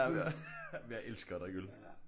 Jamen jeg elsker at drikke øl